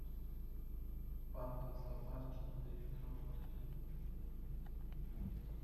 панда в зоопарке не дает работать